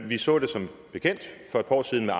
vi så det som bekendt for et par år siden med